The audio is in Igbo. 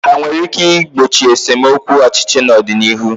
Ha nwere ike igbochi nsemokwu ọchịchị n'ọdịnihu?